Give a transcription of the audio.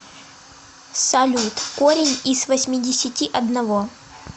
салют корень из восьмидесяти одного